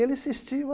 Ele insistiu.